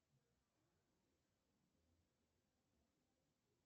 афина посмотреть канал телевидения пятый канал